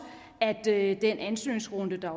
at der i den ansøgningsrunde der